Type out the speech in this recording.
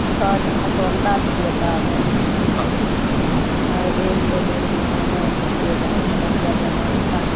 છ જણા તો અમદાવાદ થી હતા અને મારા બેન અમે અગિયાર જણા હતા